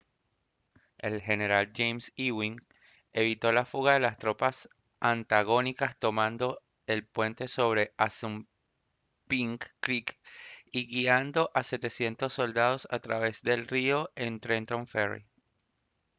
el general james ewing evitó la fuga de las tropas antagónicas tomando el puente sobre assunpink creek y guiando a 700 soldados a través del río en trenton ferry